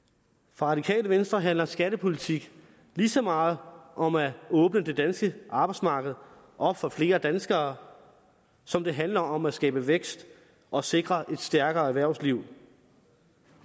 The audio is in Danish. for radikale venstre handler skattepolitik lige så meget om at åbne det danske arbejdsmarked op for flere danskere som det handler om at skabe vækst og sikre et stærkere erhvervsliv